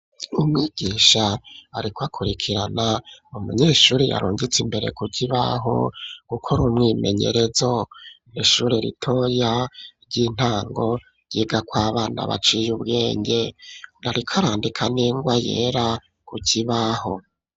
Umwigisha, ariko akurikirana, umunyeshuri yarungitse, imbere ku kibaho, gukora umwimenyerezo, ni ishuri ritoya ry'intango, ryigako abana baciye ubwenge, ariko arandika, n'ingwa yera, ku kibaho.